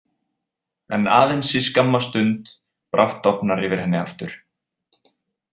En aðeins í skamma stund, brátt dofnar yfir henni aftur.